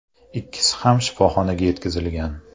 Ikkisi ham shifoxonaga yetkazilgan.